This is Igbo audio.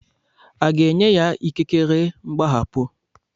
A ga-enye ya ikikere mgbaghapụ?